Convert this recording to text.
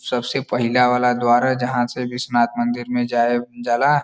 सबसे पहिला वाला द्वार ह जहाँ से विश्वनाथ मंदिर में जाये जाला।